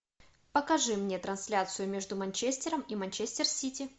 покажи мне трансляцию между манчестером и манчестер сити